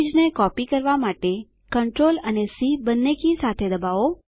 ઈમેજને કોપી કરવા માટે CTRL અને સી બંને કી સાથે દબાવો